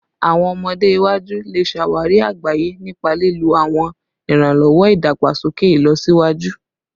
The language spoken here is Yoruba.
Awọn ọmọde iwaju le ṣawari agbaye nipa lilo awọn iranlọwọ idagbasoke ilọsiwaju